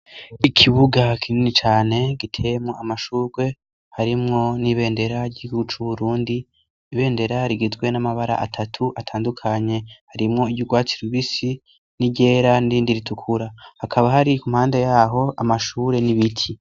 Ikibuga kinini cane gitemo amashurwe harimwo n'ibendera ry'iguca uburundi ibendera rigizwe n'amabara atatu atandukanye harimwo iryourwatsi lubisi n'iryera nindi ritukura hakaba hari kumpanda yaho amashure n'ibiti.